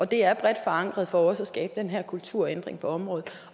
det er bredt forankret for også at skabe den her kulturændring på området